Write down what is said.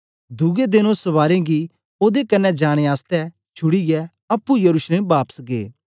दुए देन ओ सवारें गी ओदे कन्ने जाने आसतै छुड़ीयै अप्पुं येरूसलम बापस गै